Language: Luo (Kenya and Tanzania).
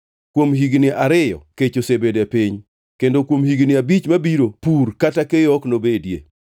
Kuom higni ariyo kech osebedo e piny, kendo kuom higni abich mabiro pur kata keyo ok nobedie.